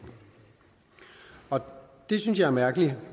og det synes jeg er mærkeligt